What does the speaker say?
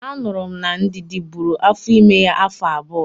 Anụrụ m na Ndidi bụrụ afọ ime ya afọ abụọ